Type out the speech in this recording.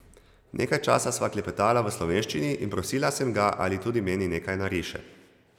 Nekaj časa sva klepetala v slovenščini in prosila sem ga, ali tudi meni nekaj nariše .